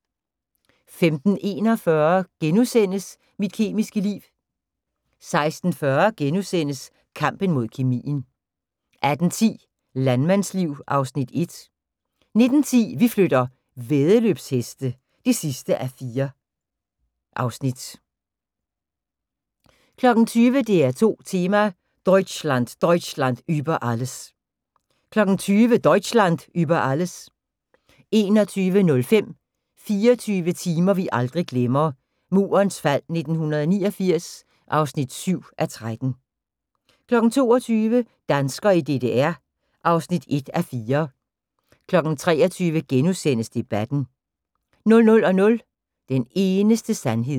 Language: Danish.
15:41: Mit kemiske liv * 16:40: Kampen mod kemien * 18:10: Landmandsliv (Afs. 1) 19:10: Vi flytter - væddeløbsheste (4:4) 20:00: DR2 Tema: Deutschland Deutschland über alles 20:00: Deutschland über Alles 21:05: 24 timer vi aldrig glemmer – Murens fald 1989 (7:13) 22:00: Danskere i DDR (1:4) 23:00: Debatten * 00:00: Den eneste sandhed